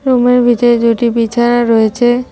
Room -এর ভিতরে দুইটি বিছানা রয়েছে।